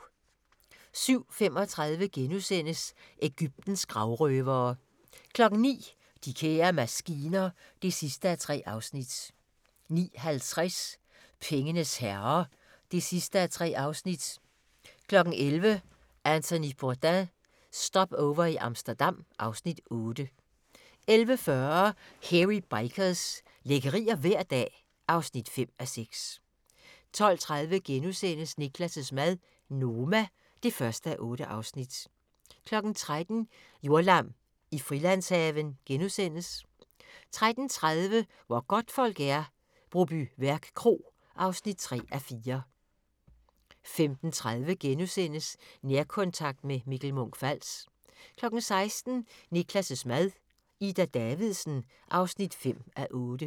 07:35: Egyptens gravrøvere * 09:00: De kære maskiner (3:3) 09:50: Pengenes herrer (3:3) 11:00: Anthony Bourdain – Stopover i Amsterdam (Afs. 8) 11:40: Hairy Bikers – lækkerier hver dag (5:6) 12:30: Niklas' mad - Noma (1:8)* 13:00: Jordlam i Frilandshaven * 13:30: Hvor godtfolk er - Brobyværk Kro (3:4) 15:30: Nærkontakt – med Mikkel Munch-Fals * 16:00: Niklas' mad - Ida Davidsen (5:8)